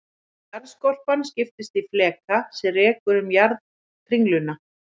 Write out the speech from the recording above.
Jarðskorpan skiptist í fleka sem rekur um jarðarkringluna.